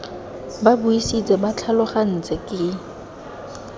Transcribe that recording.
ba buisitse ba tlhalogantse ke